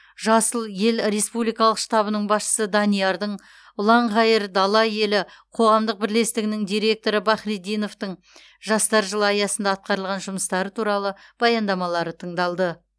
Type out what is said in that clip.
жасыл ел республикалық штабының басшысы даниярдың ұланғайыр дала елі қоғамдық бірлестігінің директоры бахретдиновтың жастар жылы аясында атқарылған жұмыстары туралы баяндамалары тыңдалды